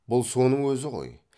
бұл соның өзі ғой